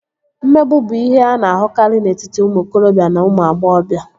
Mmegbu bụ ihe a na-ahụkarị n'etiti ụmụ okorobịa na ụmụ agbọghọbịa